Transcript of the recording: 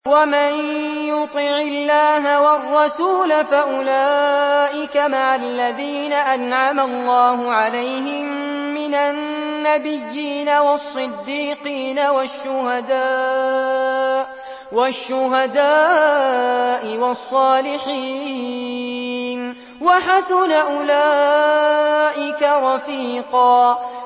وَمَن يُطِعِ اللَّهَ وَالرَّسُولَ فَأُولَٰئِكَ مَعَ الَّذِينَ أَنْعَمَ اللَّهُ عَلَيْهِم مِّنَ النَّبِيِّينَ وَالصِّدِّيقِينَ وَالشُّهَدَاءِ وَالصَّالِحِينَ ۚ وَحَسُنَ أُولَٰئِكَ رَفِيقًا